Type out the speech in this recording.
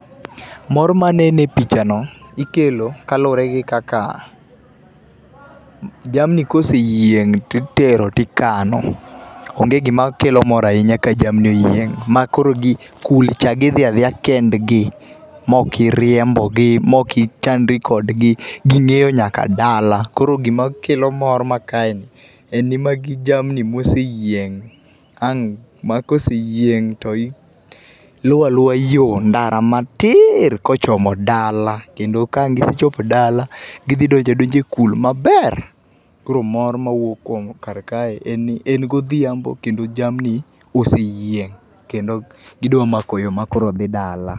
Mor manene e pichano ikelo kaluore gi kaka jamni koseyieng to itero tikano, onge gima kelo mor ahinya ka jamni oyieng ma koro gi, kul cha gidhi adhiya kendgi maok iriembogi ,maok ichandri kodgi, ging'eyo nyaka dala. Koro gima kelo mor ma kaeni en ni magi jamni moseyieng ang , ma koseyieng to luwo aluwa yoo ndara matiir kochomo dala kendo ka wang gichopo dala gidhi donjo adonja e kul maber. Koro mor mawuok kar kae en ni en godhiambo kendo jamni oseyieng kendo gidwa mako yoo makoro dhi dala